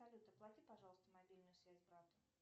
салют оплати пожалуйста мобильную связь брату